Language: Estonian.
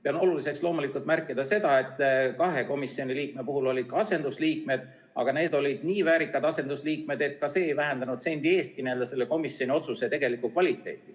Pean oluliseks loomulikult märkida ka seda, et kahe komisjoni liikme puhul olid kohal asendusliikmed, aga need olid nii väärikad asendusliikmed, et ka see asjaolu ei vähendanud sendi eestki komisjoni otsuse tegelikku kvaliteeti.